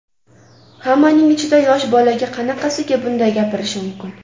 Hammaning ichida yosh bolaga qanaqasiga bunday gapirish mumkin?